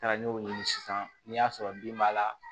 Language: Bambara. N taara n y'o ɲini sisan n'i y'a sɔrɔ bin b'a la